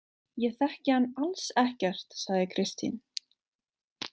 Ég þekki hann alls ekkert, sagði Kristín.